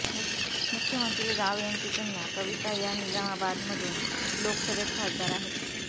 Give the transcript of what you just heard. मुख्यमंत्री राव यांची कन्या कविता या निजामाबादमधून लोकसभेत खासदार आहेत